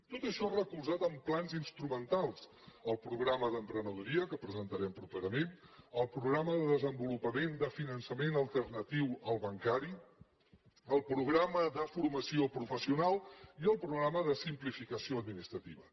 tot això recolzat en plans instrumentals el programa d’emprenedoria que presentarem properament el programa de desenvolupament de finançament alternatiu al bancari el programa de formació professional i el programa de simplificació administrativa